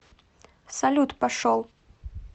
салют пошел